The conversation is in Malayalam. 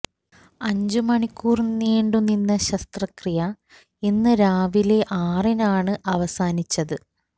അഞ്ചു മണിക്കൂർ നീണ്ടു നിന്ന ശസ്ത്രക്രിയ ഇന്ന് രാവിലെ ആറിനാണ് അവസാനിച്ചത്